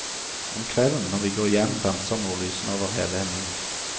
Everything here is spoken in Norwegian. Om kvelden, når vi går hjem, danser nordlysene over hele himmelen.